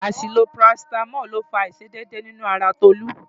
Àṣìlò parasítámọ̀ ló fa àìṣedédé nínú ara Tolú.